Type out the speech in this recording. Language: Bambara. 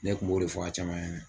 Ne tun b'o de fɔ a caman ye